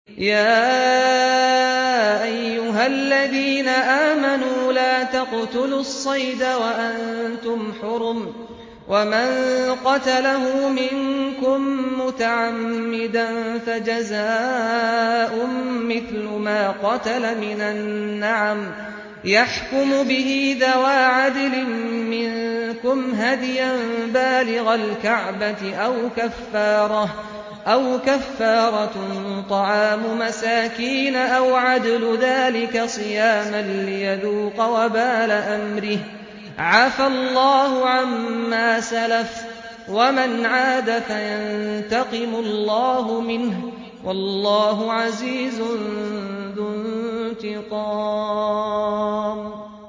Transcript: يَا أَيُّهَا الَّذِينَ آمَنُوا لَا تَقْتُلُوا الصَّيْدَ وَأَنتُمْ حُرُمٌ ۚ وَمَن قَتَلَهُ مِنكُم مُّتَعَمِّدًا فَجَزَاءٌ مِّثْلُ مَا قَتَلَ مِنَ النَّعَمِ يَحْكُمُ بِهِ ذَوَا عَدْلٍ مِّنكُمْ هَدْيًا بَالِغَ الْكَعْبَةِ أَوْ كَفَّارَةٌ طَعَامُ مَسَاكِينَ أَوْ عَدْلُ ذَٰلِكَ صِيَامًا لِّيَذُوقَ وَبَالَ أَمْرِهِ ۗ عَفَا اللَّهُ عَمَّا سَلَفَ ۚ وَمَنْ عَادَ فَيَنتَقِمُ اللَّهُ مِنْهُ ۗ وَاللَّهُ عَزِيزٌ ذُو انتِقَامٍ